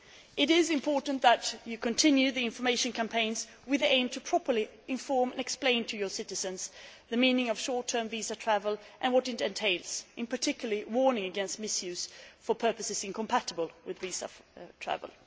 It is important that you continue the information campaigns, with the aim of properly informing and explaining to your citizens the meaning of short term visa travel and what it entails, in particular, warning against misuse for purposes incompatible with visa travel.